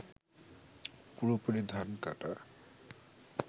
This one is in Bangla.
পুরোপুরি ধান কাটা